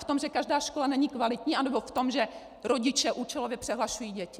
V tom, že každá škola není kvalitní, anebo v tom, že rodiče účelově přehlašují děti?